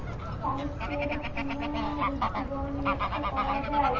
সাহিত্যের পুনরূপ জীবন লক্ষ্য করা যায়।